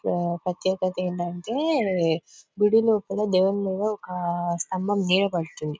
ఇక్కడ ప్రత్యేకత ఏమిటంటే గుడి లోపల దేవుని మీద ఒక స్తంభం నీడ పడుతుంది.